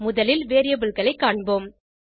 முதலில் variableகளை காண்போம்